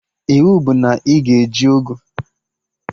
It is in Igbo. Iwu bụ na ị ga-eji ọgụ!